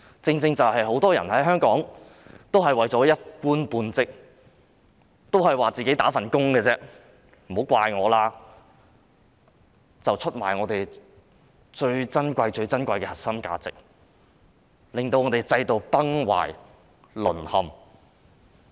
香港很多人為了一官半職，常說自己只是"打份工"，不要怪責他們，然而他們卻出賣了我們最珍貴、最珍貴的核心價值，令制度崩壞、淪陷。